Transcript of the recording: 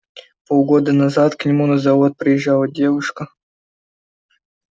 полгода назад к нему на завод приезжала девушка